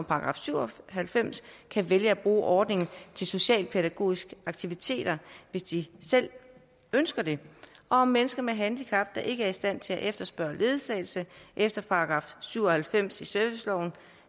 § syv og halvfems kan vælge at bruge ordningen til socialpædagogiske aktiviteter hvis de selv ønsker det og om mennesker med handicap der ikke er i stand til at efterspørge ledsagelse efter § syv og halvfems i serviceloven